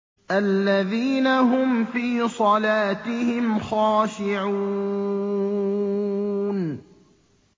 الَّذِينَ هُمْ فِي صَلَاتِهِمْ خَاشِعُونَ